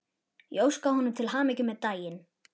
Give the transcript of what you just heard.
Ég óskaði honum til hamingju með daginn.